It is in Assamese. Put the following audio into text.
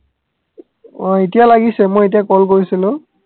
অ এতিয়া লাগিছে মই এতিয়া call কৰিছিলো